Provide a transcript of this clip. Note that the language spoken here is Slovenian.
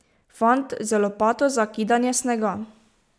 Fant z lopato za kidanje snega.